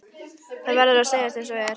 Það verður að segjast einsog er.